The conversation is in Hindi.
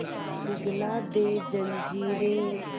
पिघला दे जंजीरें